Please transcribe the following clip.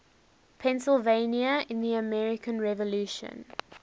pennsylvania in the american revolution